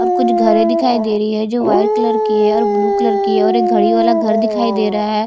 और कुछ घरें दिखाई दे रही है जो वाइट कलर की है ब्लू कलर की है और कुछ घड़ी वाला घर दिखाई दे रहा है।